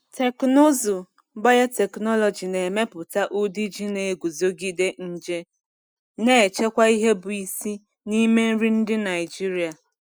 Teknụzụ biotechnology na-emepụta ụdị ji na-eguzogide nje, na-echekwa ihe bụ isi n’ime nri ndị Naijiria.